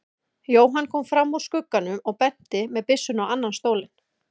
Jóhann kom fram úr skugganum og benti með byssunni á annan stólinn.